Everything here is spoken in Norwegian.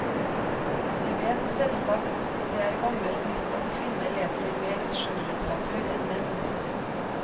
Vi vet selvsagt det er gammelt nytt at kvinner leser mer skjønnlitteratur enn menn.